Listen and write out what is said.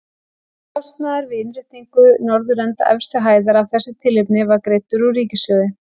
Kostnaður við innréttingu norðurenda efstu hæðar af þessu tilefni var greiddur úr ríkissjóði.